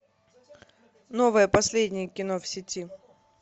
новое последнее кино в сети